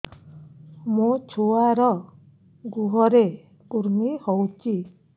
ମୋ ଛୁଆର୍ ଗୁହରେ କୁର୍ମି ହଉଚି